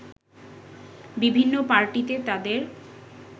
বিভিন্ন পার্টিতে তাদের